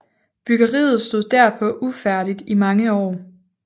Byggeriet stod derpå ufærdigt i mange år